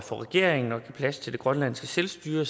for regeringen at give plads til at grønlands selvstyre